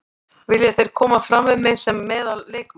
Vilja þeir koma fram við mig sem meðal leikmann.